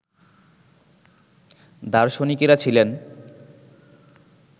দার্শনিকেরা ছিলেন